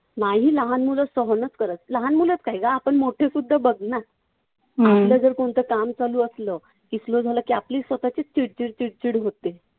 नाही मुलं सहनच करत नाहीत. लहानच मुलं काय गं? आपण मोठीसुद्धा बघ ना. आपलं जर कोणतं काम चालू असलं की slow झालं की आपली स्वतःची चिडचिड चिडचिड होते.